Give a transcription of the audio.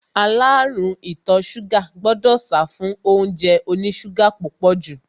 Aláàrúùn ìtọ ṣúgà gbọdọ̀ sáfún óúnjẹ oní ṣúgà púpọ̀ jù.